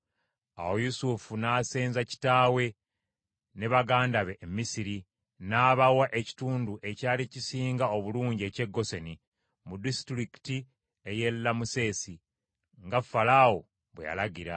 Awo Yusufu n’asenza kitaawe ne baganda be e Misiri, n’abawa ekitundu ekyali kisinga obulungi eky’e Goseni, mu Disitulikiti ey’e Lamusesi nga Falaawo bwe yalagira.